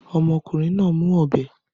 Ọmọkùnrin náà ń mú ọ̀bẹ